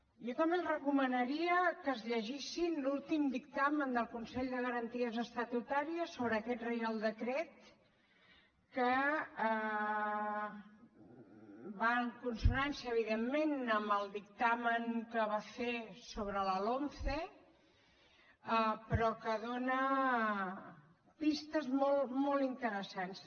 jo també els recomanaria que es llegissin l’últim dic tamen del consell de garanties estatutàries sobre aquest reial decret que va en consonància evidentment amb el dictamen que va fer sobre la lomce però que dóna pistes molt interessants